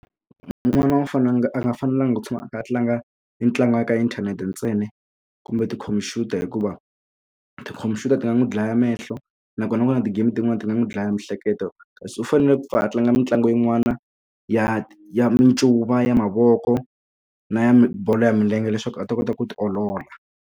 N'wana u a nga a nga fanelanga ku tshama a kha a tlanga mitlangu ya ka inthanete ntsena kumbe tikhompyuta hikuva tikhompyuta ti nga n'wi dlaya mehlo nakona ku na ti-game tin'wani ti nga n'wi dlaya miehleketo kasi u fanele a tlanga mitlangu yin'wana ya ya mincuva ya mavoko na ya bolo ya milenge leswaku a ta kota ku ti olola.